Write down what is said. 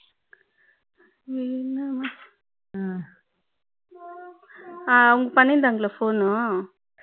என்னம்மா அவங்க பண்ணி இருந்தாங்களா phone